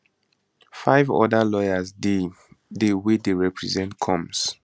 five oda lawyers dey dey wey deyrepresent combs